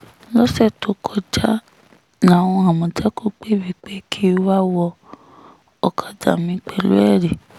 lọ́sẹ̀ tó kọjá làwọn àmọ̀tẹ́kùn pè mí pé kí n wáá wọ ọ̀kadà mi pẹ̀lú ẹ̀rí